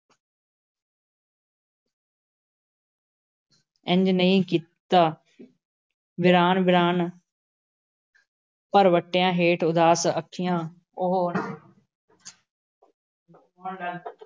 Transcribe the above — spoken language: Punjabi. ਇੰਝ ਨਹੀਂ ਕੀਤਾ। ਵੀਰਾਨ-ਵੀਰਾਨ ਭਰਵੱਟਿਆਂ ਹੇਠ ਉਦਾਸ ਅੱਖੀਆਂ, ਉਹ